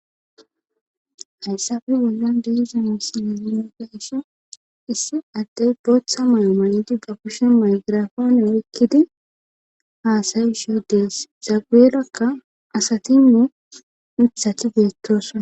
hayssafe bollon deizamisinezine daisso issi addey bootha may7o maydi ba kushen maygiraafano ekkidi haasayi sho dees zaguerakka asatimi mithati beettosona